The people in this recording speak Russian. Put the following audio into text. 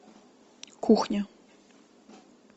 кухня